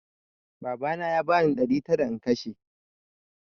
Babana ya bani ɗari tara in kashe